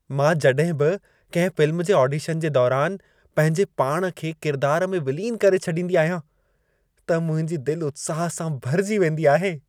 मां जॾहिं बि कंहिं फ़िल्म जे ऑडिशन जे दौरान पंहिंजे पाण खे किरदार में विलीन करे छॾींदी आहियां, त मुंहिंजी दिल उत्साह सां भरिजी वेंदी आहे।